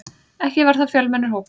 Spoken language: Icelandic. Ekki var það fjölmennur hópur.